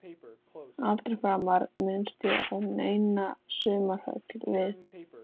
Aldrei framar minnst á neina sumarhöll við